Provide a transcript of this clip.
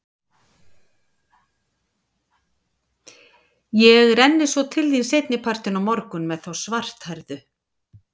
Ég renni svo til þín seinni partinn á morgun með þá svarthærðu.